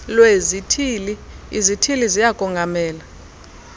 lwezithili izithili ziyakongamela